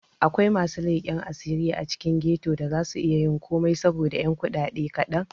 Akwai masu leken asiri a cikin ghetto da za su iyayin komai saboda 'yan kudade kadan.